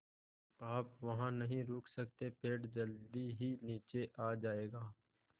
आप वहाँ नहीं रुक सकते पेड़ जल्दी ही नीचे आ जाएगा